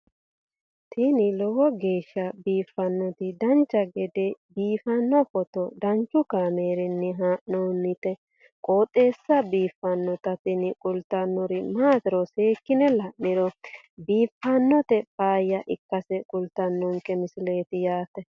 tini lowo geeshsha biiffannoti dancha gede biiffanno footo danchu kaameerinni haa'noonniti qooxeessa biiffannoti tini kultannori maatiro seekkine la'niro biiffannota faayya ikkase kultannoke misileeti yaate